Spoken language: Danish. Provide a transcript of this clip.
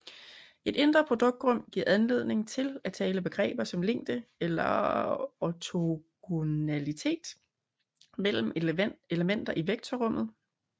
Et indre produkt rum giver anledning til at tale begreber som længde eller ortogonalitet mellem elementer i vektorrummet